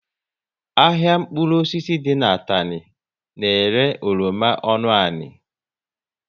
Ahịa mkpụrụ osisi dị n'Atani na ere oroma ọnụ ani